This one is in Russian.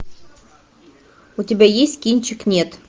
у тебя есть кинчик нет